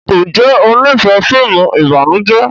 Njé o n'ifẹ fíìmù ìbànújẹ?